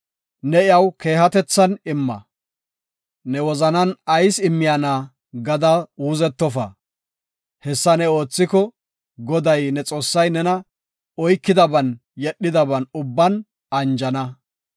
Ne iyaw keehatethan imma; ne wozanan ayis immiyana gada uuzettofa. Hessa ne oothiko, Goday ne Xoossay nena oykidaban yedhidaban ubban anjana.